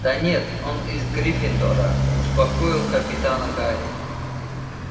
да нет он из гриффиндора успокоил капитана гарри